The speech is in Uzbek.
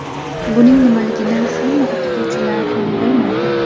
Buning nimaligini hamma o‘qituvchilar ham bilmaydi.